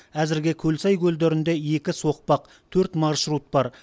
әзірге көлсай көлдерінде екі соқпақ төрт маршрут бар